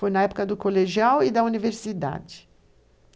Foi na época do colegial e da universidade.